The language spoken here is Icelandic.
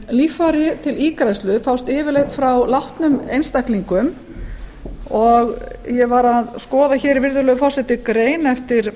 líffæri til ígræðslu fást yfirleitt frá látnum einstaklingum og ég var að skoða virðulegur forseti grein eftir